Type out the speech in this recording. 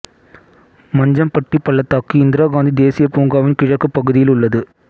மஞ்சம்பட்டி பள்ளத்தாக்கு இந்திரா காந்தி தேசியப் பூங்காவின் கிழக்குப் பகுதியில் உள்ளது